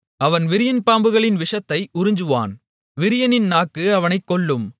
அவன் விரியன்பாம்புகளின் விஷத்தை உறிஞ்சுவான் விரியனின் நாக்கு அவனைக் கொல்லும்